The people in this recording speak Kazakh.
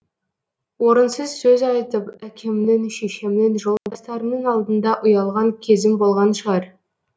орынсыз сөз айтып әкемнің шешемнің жолдастарымның алдында ұялған кезім болған шығар